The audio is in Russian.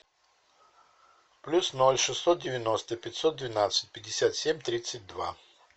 плюс ноль шестьсот девяносто пятьсот двенадцать пятьдесят семь тридцать два